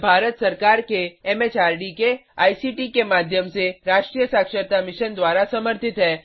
यह भारत सरकार के एम एच आर डी के आई सी टी के माध्यम से राष्ट्रीय साक्षरता मिशन द्वारा समर्थित है